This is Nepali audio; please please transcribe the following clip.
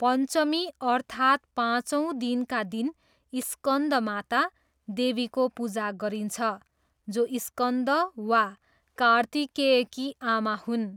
पञ्चमी अर्थात् पाँचौँ दिनका दिन स्कन्दमाता, देवीको पूजा गरिन्छ, जो स्कन्द वा कार्तिकेयकी आमा हुन्।